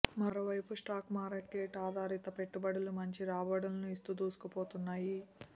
మరో వైపు stock market ఆధారిత పెట్టుబడులు మంచి రాబడులను ఇస్తూ దూసుకుపోతున్నాయి